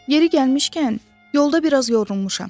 Yeri gəlmişkən, yolda biraz yorulmuşam.